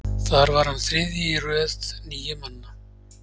þar var hann þriðji í röð níu manna